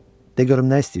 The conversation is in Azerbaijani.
De görüm nə istəyirsən?